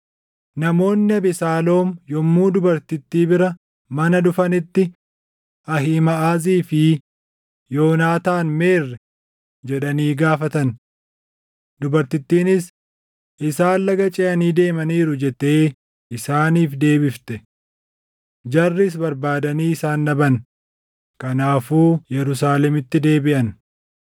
Namoonni Abesaaloom yommuu dubartittii bira mana dhufanitti, “Ahiimaʼazii fi Yoonaataan meerre?” jedhanii gaafatan. Dubartittiinis, “Isaan laga ceʼanii deemaniiru” jettee isaaniif deebifte. Jarris barbaadanii isaan dhaban; kanaafuu Yerusaalemitti deebiʼan.